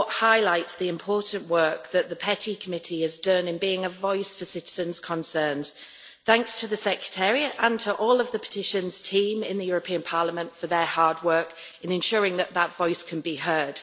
report highlights the important work that the PETI Committee has done in being a voice for citizens' concerns. Thanks to the secretariat and to all of the Petitions team in the European Parliament for their hard work in ensuring that that voice can be heard.